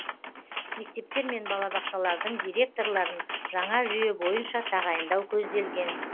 мектептер мен балабақшалардың директорларын жаңа жүйе бойынша тағайындау көзделген